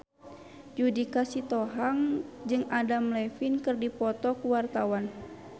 Judika Sitohang jeung Adam Levine keur dipoto ku wartawan